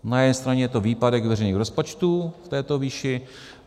Na jedné straně je to výpadek veřejných rozpočtů v této výši.